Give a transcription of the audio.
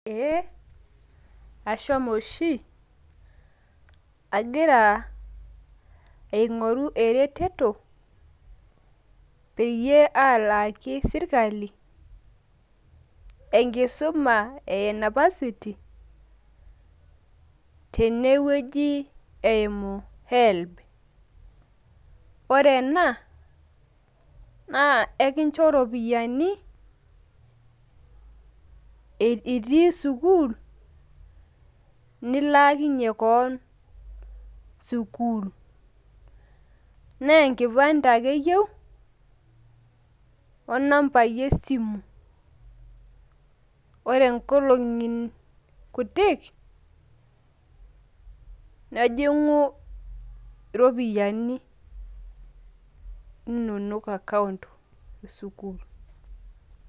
Eeeha ashomo oshi agira aing'oru ereteto peyie alaaki sirkali enkisuma enapasiti tene wuei eimu helb. Naa ore ena naa ekinjo ropiani itii sukuul nilaakinye keon sukuul naa enkipande ake eyeu o nambai e simu. Ore nkolong'i kutik, nejing'u ropiani inonok account e sukuul.